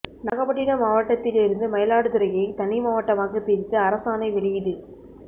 நாகப்பட்டினம் மாவட்டத்தில் இருந்து மயிலாடுதுறையை தனி மாவட்டமாக பிரித்து அரசாணை வெளியீடு